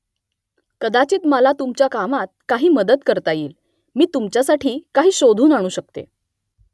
कदाचित मला तुमच्या कामात काही मदत करता येईल . मी तुमच्यासाठी काही शोधून आणू शकते